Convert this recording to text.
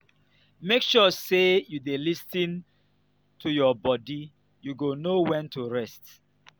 make sure sey you dey lis ten to your bodi you go know wen to rest.